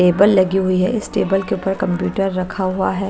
Table लगी हुई है। इस टेबल के ऊपर कंप्यूटर रखा हुआ है।